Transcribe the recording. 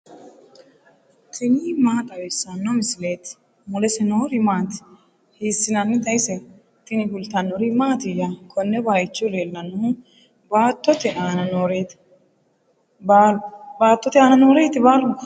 tini maa xawissanno misileeti ? mulese noori maati ? hiissinannite ise ? tini kultannori mattiya? Konne bayiichcho leellanohu baattote aanna nooreti? baalunkuri?